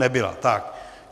Nebyla, tak.